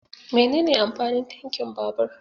Menene amfanin tankin babur?